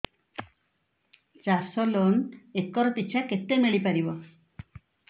ଚାଷ loan acre ପିଛା କେତେ ମିଳି ପାରିବ